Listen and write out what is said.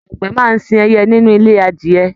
Àgbẹ máa sìn ẹyẹ nínú ilé adìyẹ̀.